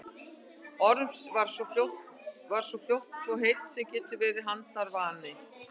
Orms svo hann varð fljótt svo heill sem verið getur handarvani.